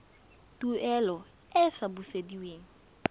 tuelo e e sa busediweng